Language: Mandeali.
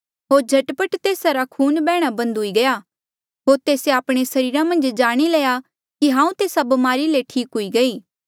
होर झटपट तेस्सा रा खून बैहणा बंद हुई गया होर तेस्से आपणे सरीरा मन्झ जाणी लया कि हांऊँ तेस्सा ब्मारी ले ठीक हुई गयी